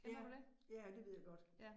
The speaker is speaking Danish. Ja, ja det ved jeg godt